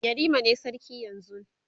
yarima ne sarki yanzun